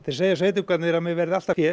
segja sveitungarnir að mér verði allt að fé